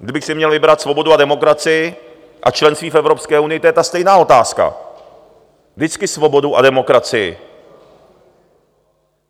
Kdybych si měl vybrat svobodu a demokracii a členství v Evropské unii, to je ta stejná otázka: vždycky svobodu a demokracii.